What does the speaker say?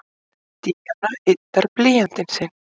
Díana yddar blýantinn sinn.